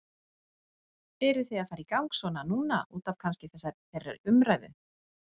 Eru þið að fara í gang svona núna útaf kannski þeirri umræðu?